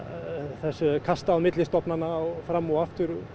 þessu er kastað á milli stofnana fram og aftur